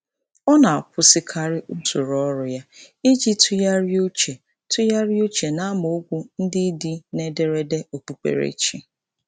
Ọ na-akwụsịkarị usoro ọrụ ya iji tụgharị uche tụgharị uche n’amaokwu ndị dị n’ederede okpukperechi.